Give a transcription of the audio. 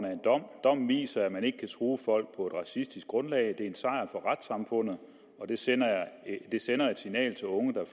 af en dom dommen viser at man ikke kan true folk på et racistisk grundlag det er en sejr for retssamfundet og det sender et sender et signal til unge der